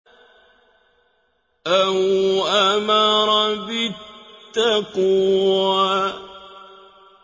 أَوْ أَمَرَ بِالتَّقْوَىٰ